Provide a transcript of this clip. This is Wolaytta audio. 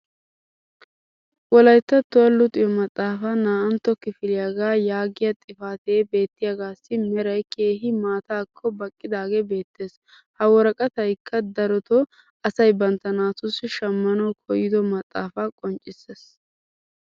wolayttattuwa luxxiyo maxaafaa naa"antta kifiliyaagaa yaagiya xifatee beettiyaagaassi meray keehi maataaakko baqqidaagee beetees. Ha woraqqataykka darotoo asay bantta naatussi shammanawu koyddo maxaafaa qonccissees.